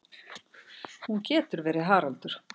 Hún getur verið Haraldur